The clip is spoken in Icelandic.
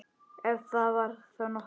Ef það var þá nokkuð.